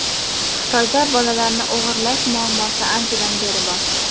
Xitoyda bolalarni o‘g‘irlash muammosi anchadan beri bor.